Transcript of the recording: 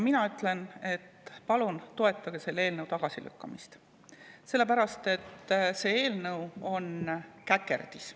Mina ütlen, et palun toetage selle eelnõu tagasilükkamist, sest see eelnõu on käkerdis.